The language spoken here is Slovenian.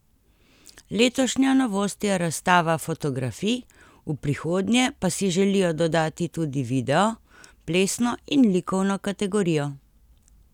Letošnja novost je razstava fotografij, v prihodnje pa si želijo dodati tudi video, plesno in likovno kategorijo.